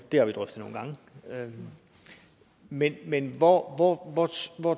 det har vi drøftet nogle gange men men hvor hvor